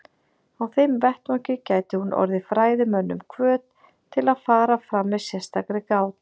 Á þeim vettvangi gæti hún orðið fræðimönnum hvöt til að fara fram með sérstakri gát.